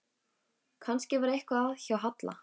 Kannski var eitthvað að hjá Halla.